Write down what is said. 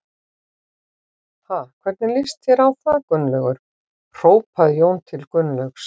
Ha, hvernig líst þér á það Gunnlaugur? hrópaði Jón til Gunnlaugs.